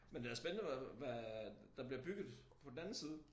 Men det da spændende hvad der bliver bygget på den anden side